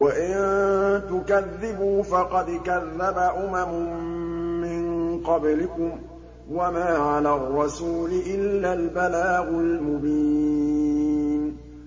وَإِن تُكَذِّبُوا فَقَدْ كَذَّبَ أُمَمٌ مِّن قَبْلِكُمْ ۖ وَمَا عَلَى الرَّسُولِ إِلَّا الْبَلَاغُ الْمُبِينُ